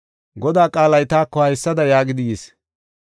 Godaa qaalay taako haysada yaagidi yis;